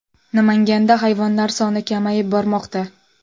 Namanganda hayvonlar soni kamayib bormoqda .